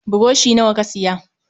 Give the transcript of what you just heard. Burushi nawa ka siya?